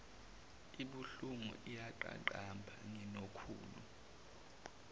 ibuhlungu iyaqaqamba nginokhulu